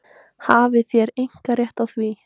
Hafið þér einkarétt á því?